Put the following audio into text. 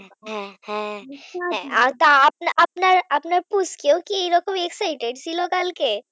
হ্যাঁ হ্যাঁ ছবি আর আপনার আর আপনার আপনার পুচকেও কি এরকম excited ছিল কালকে